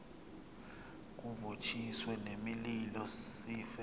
kuvuthiswe nemililo sife